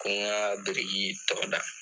Ko n ka biriki in tɔɔ da